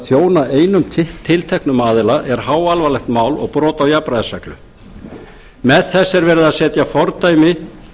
þjóna einum tilteknum aðila er háalvarlegt mál og brot á jafnræðisreglu með þessu er verið að setja fordæmi